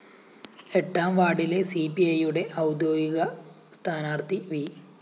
എട്ടാം വാര്‍ഡിലെ സിപിഐയുടെ ഔദ്യോഗിക സ്ഥാനാര്‍ത്ഥി വി